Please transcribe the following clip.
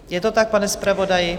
Je to tak, pane zpravodaji?